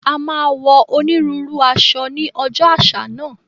A máa wọ onírúurú aṣọ ní ọjọ́ àṣà náà